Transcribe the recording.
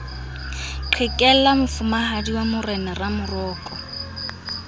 qhekella mofumahadi wa morena ramoroko